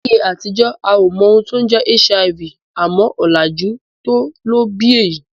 Láyé àtijọ́ a ò mọ ohun tó ń jẹ́ HIV, àmọ́ ọ̀làjú tó ló bí èyí